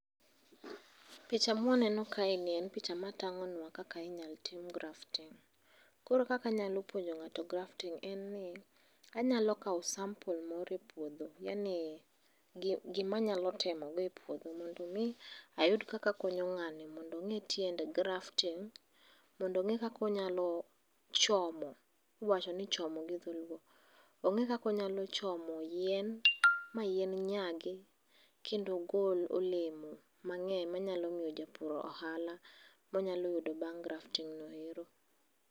Picha mwaneno kae ni en picha ma tang'onwa kaka inyalo tim grafting. Koro kaka anyalo puonjo ng'ato grafting en ni, anyalo kao sample moro e puodho. Yaani gima anyalo temo go e puodho mondo mi ayud kaka akonyo ng'ani mondo ong'ee tiend grafting mondo ong'ee kaka onyalo chomo, iwacho ni chomo gi dholuo. Ong'ee kaka onyalo chomo yien, ma yien nyagi kendo gol olemo mang'eny manyalo miyo japur ohala monyalo yudo bang' grafting no ero.